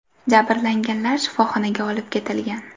Jabrlanganlar shifoxonaga olib ketilgan.